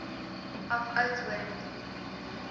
af oudtshoorn toe